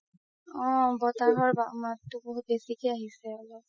অ বতাহৰ মাততো বেচিকে আহিছে অলপ